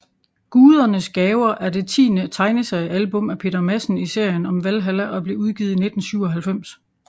Gudernes gaver er det tiende tegneseriealbum af Peter Madsen i serien om Valhalla og blev udgivet i 1997